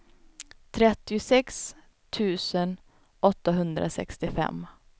trettiosex tusen åttahundrasextiofem